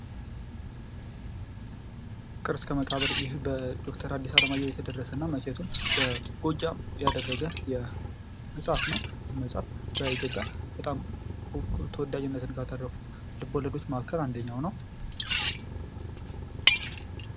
ፍቅር እስከ መቃብር በዶክተር አዲስ አለማየሁ የተደረሰ መቼቱን በጎጃም ላይ ያደረገ መጽሃፍ ነው። ይህ መጽሃፍ በኢትዮጵያ በጣም ተወዳጅነትን ካተረፉ ልቦለዶች ማዕከል አንደኛው ነው።